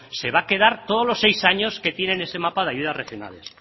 se va a quedar todos los seis años que tiene en ese mapa de ayudas regionales